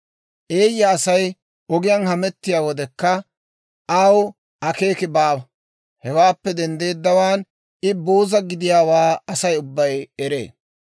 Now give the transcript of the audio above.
Eeyya Asay ogiyaan hamettiyaa wodekka, aw akeeki baawa; hewaappe denddeeddawaan I booza gidiyaawaa Asay ubbay eree.